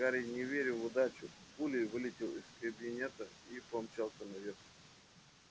гарри не веря в удачу пулей вылетел из кабинета и помчался наверх